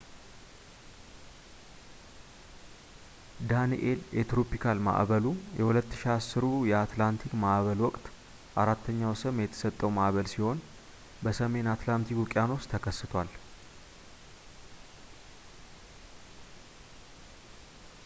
ዳኒኤል የትሮፒካል ማዕበሉ የ2010ሩ የአትላንቲክ ማዕበል ወቅት አራተኛው ስም የተሰጠው ማዕበል ሲሆን በሰሜን አትላንቲክ ውቅያኖስ ተከስቷል